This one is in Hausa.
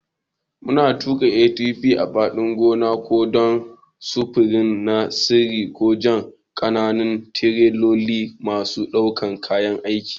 Muna tuƙa ATV a fadin gona, ko don sufuri na sirri ko jan ƙananan tireloli masu ɗaukan kayan aiki.